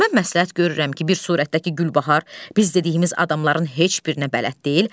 Mən məsləhət görürəm ki, bir surətdəki Gülbahar biz dediyimiz adamların heç birinə bələd deyil.